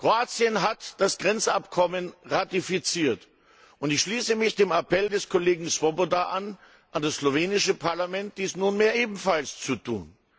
Kroatien hat das Grenzabkommen ratifiziert, und ich schließe mich dem Appell des Kollegen Swoboda an das slowenische Parlament an, dies nunmehr ebenfalls zu tun.